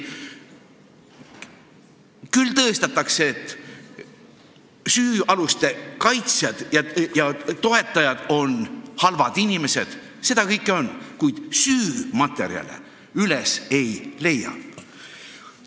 Püütakse ka tõestada, et süüaluste kaitsjad ja toetajad on halvad inimesed – seda kõike on –, kuid süümaterjale üles ei leia.